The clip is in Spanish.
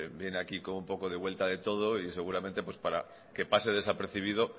viene aquí con un poco de vuelta de todo y seguramente para que pase desapercibido